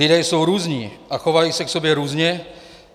Lidé jsou různí a chovají se k sobě různě.